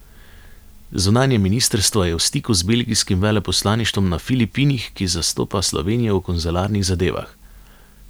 Zunanje ministrstvo je v stiku z belgijskim veleposlaništvom na Filipinih, ki zastopa Slovenijo v konzularnih zadevah.